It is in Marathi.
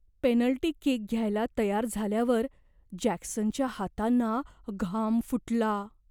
पेनल्टी किक घ्यायला तयार झाल्यावर जॅक्सनच्या हातांना घाम फुटला.